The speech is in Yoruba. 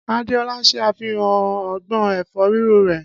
Adéolá ṣe àfihàn ọgbọ́n ẹ̀fọ́ Ríro rẹ̀.